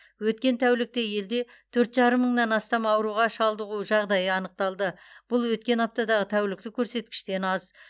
өткен тәулікте елде төрт жарым мыңнан астам ауруға шалдығу жағдайы анықталды бұл өткен аптадағы тәуліктік көрсеткіштен аз